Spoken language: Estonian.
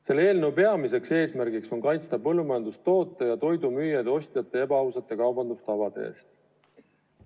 Selle eelnõu peamine eesmärk on kaitsta põllumajandustoodete ja toidu müüjaid ostjate ebaausate kaubandustavade eest.